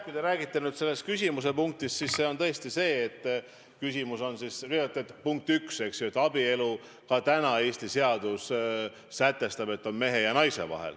Kui te räägite nüüd esitatavast küsimusest, siis tõesti, kõigepealt punkt 1: Eesti seadus sätestab praegu, et abielu on mehe ja naise vahel.